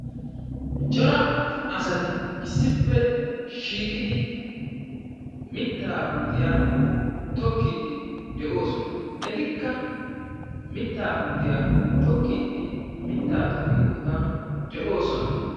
Cora asati issippe shiiqidi mitta puutiya tokkidi de'oosona. Etikka mitta puutiya tokkidi mitta tokkiyo boottan de'oosona.